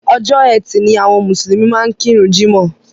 Ọjọ́ etì ni àwọn mùsùlùmí máa ń kíru jímọ̀.